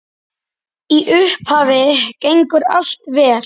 Í upphafi gengur allt vel.